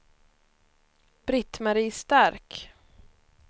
Britt-Marie Stark